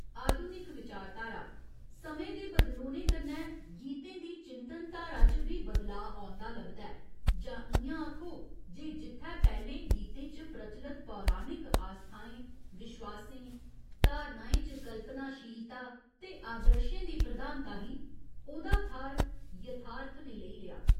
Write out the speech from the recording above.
आधुनिक विचारधारा समें दे बदलोने कन्नै गीतें दी चिंतन धारा च बी बदलाऽ औंदा लभदा ऐ जां इ'यां आखो जे जित्थै पैह्‌लें गीतें च प्रचलत पौराणिक आस्थाएं विश्वासें, धारणाएं च कल्पनाशीलता ते आदर्शें दी प्रधानता ही, ओह्दा थाह्‌र यथार्थ ने लेई लेआ।